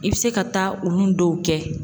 I bɛ se ka taa olu dɔw kɛ.